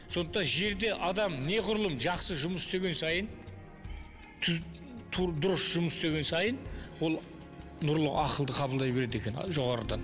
сондықтан жерде адам неғұрлым жақсы жұмыс істеген сайын дұрыс жұмыс істеген сайын ол нұрлы ақылды қабылдай береді екен жоғарыдан